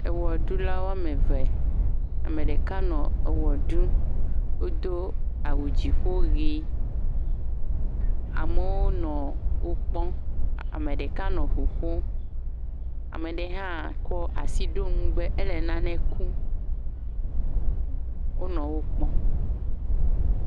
ewɔɖula wɔmeve ameɖeka nɔ ewɔɖum wodó awu dziƒo ɣi amewo nɔ wó kpɔm ameɖeka nɔ ʋu ƒom ameɖe hã kɔ asi ɖo ŋu ewɔabe éle naɖe kom wonɔ wó kpɔm